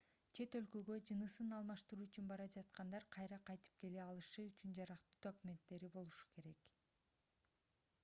чет өлкөгө жынысын алмаштыруу үчүн бара жаткандар кайра кайтып келе алышы үчүн жарактуу документтери болушу керек